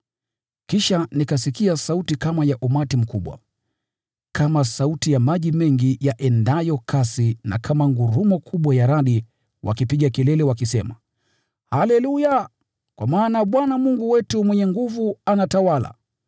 Kisha nikasikia sauti kama ya umati mkubwa, kama sauti ya maji mengi yaendayo kasi na kama ngurumo kubwa ya radi wakipiga kelele wakisema: “Haleluya! Kwa maana Bwana Mungu wetu Mwenyezi anatawala.